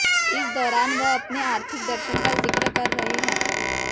इस दौरान वह अपने आर्थिक दर्शन का जिक्र कर रहे हैं